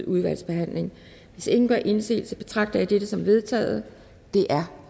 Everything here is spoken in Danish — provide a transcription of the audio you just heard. udvalgsbehandling hvis ingen gør indsigelse betragter jeg dette som vedtaget det er